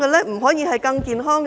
不可以更健康嗎？